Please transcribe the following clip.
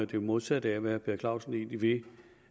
det modsatte af hvad herre per clausen egentlig vil